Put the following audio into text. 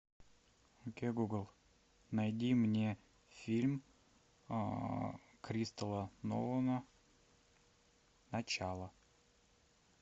окей гугл найди мне фильм кристала нолана начало